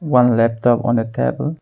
One laptop on a table.